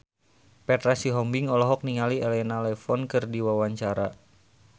Petra Sihombing olohok ningali Elena Levon keur diwawancara